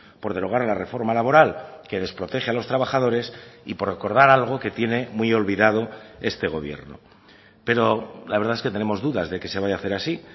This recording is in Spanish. por derogar la reforma laboral que desprotege a los trabajadores y por recordar algo que tiene muy olvidado este gobierno pero la verdad es que tenemos dudas de que se vaya a hacer así